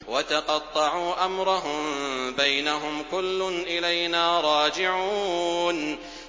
وَتَقَطَّعُوا أَمْرَهُم بَيْنَهُمْ ۖ كُلٌّ إِلَيْنَا رَاجِعُونَ